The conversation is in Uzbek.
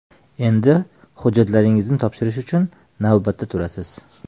Endi hujjatlaringizni topshirish uchun navbatda turasiz.